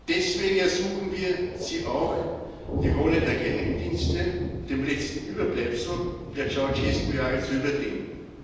Deswegen ersuchen wir Sie auch, die Rolle der Geheimdienste, des letzten Überbleibsels der Ceauşescu Jahre, zu überdenken.